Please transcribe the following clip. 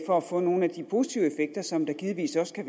for at få nogle af de positive effekter som der givetvis også kan